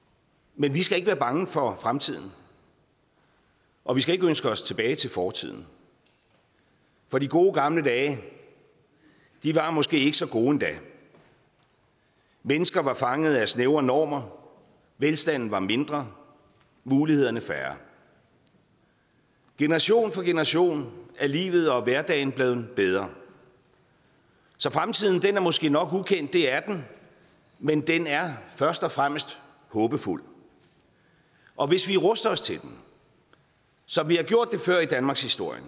men vi skal ikke være bange for fremtiden og vi skal ikke ønske os tilbage til fortiden for de gode gamle dage var måske ikke så gode endda mennesker var fanget af snævre normer velstanden var mindre mulighederne færre generation for generation er livet og hverdagen blevet bedre så fremtiden er måske nok ukendt det er den men den er først og fremmest håbefuld og hvis vi ruster os til den som vi har gjort det før i danmarkshistorien